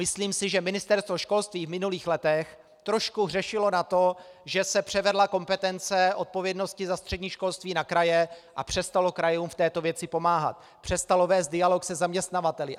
Myslím si, že Ministerstvo školství v minulých letech trošku hřešilo na to, že se převedla kompetence odpovědnosti za střední školství na kraje, a přestalo krajům v této věci pomáhat, přestalo vést dialog se zaměstnavateli.